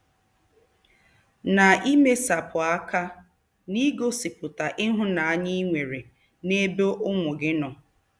Na-emesapụ aka n'igosipụta ịhụnanya i nwere n'ebe ụmụ gị nọ.